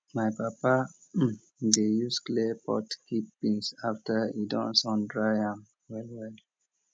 my papa dey use clay pot keep beans after e don sundry am well well